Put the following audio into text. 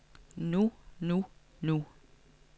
nu nu nu